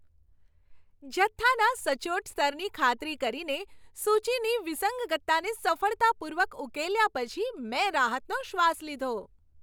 જથ્થાના સચોટ સ્તરની ખાતરી કરીને, સૂચીની વિસંગતતાને સફળતાપૂર્વક ઉકેલ્યા પછી, મેં રાહતનો શ્વાસ લીધો.